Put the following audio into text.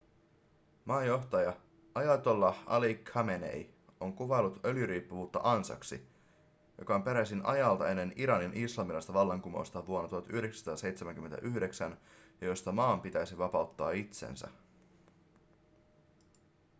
maan johtaja ayatollah ali khamenei on kuvaillut öljyriippuvuutta ansaksi joka on peräisin ajalta ennen iranin islamilaista vallankumousta vuonna 1979 ja josta maan pitäisi vapauttaa itsensä